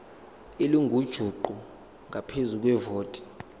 elingujuqu ngaphezu kwevoti